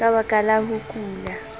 ka baka la ho kula